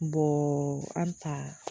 an taa